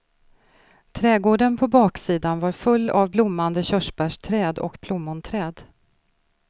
Trädgården på baksidan var full av blommande körsbärsträd och plommonträd.